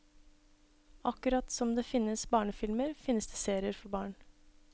Akkurat som det finnes barnefilmer, finnes det serier for barn.